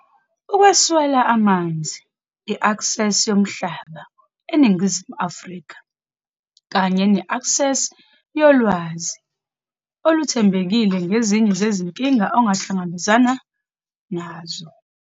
Ukweswela amanzi, i-aksesi yomhlaba, eNingizimu Afrika, kanye ne-eksesi yolwazi oluthembekile ngezinye zezinkinga okuhlangabezwene nazo.